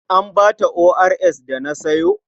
An ba ta ORS da na sayo?